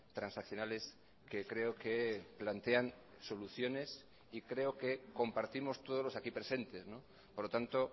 transaccionales que creo que plantean soluciones y creo que compartimos todos los aquí presentes por lo tanto